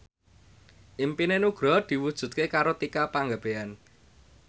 impine Nugroho diwujudke karo Tika Pangabean